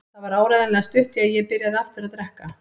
Það var áreiðanlega stutt í að ég byrjaði aftur að drekka.